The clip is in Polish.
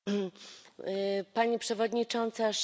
Pani Przewodnicząca, Szanowni Państwo!